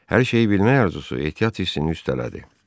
Hər şeyi bilmək arzusu ehtiyat hissini üstələdi.